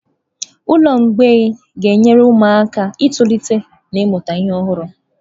Ụlọ mgbei ga-enyere ụmụaka aka itolite na ịmụta ihe ọhụrụ.